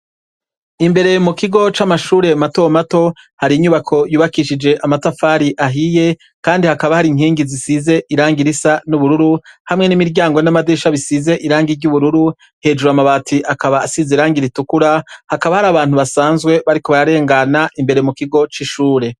Imbere mu kigo c'amashure matomato hari inyubako yubakishije amatafari ahiye, kandi hakaba hari inkingi zisize iranga irisa n'ubururu hamwe n'imiryango n'amadisha bisize irang iry'ubururu hejuru amabati akaba asize irangi iritukura hakaba hari abantu basanzwe bariko bararengana imbere mu kigo c'ishure.